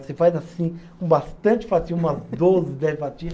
Você faz assim, com bastante fatia, umas doze, dez fatia.